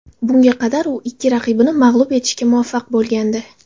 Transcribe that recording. Bunga qadar u ikki raqibini mag‘lub etishga muvaffaq bo‘lgandi .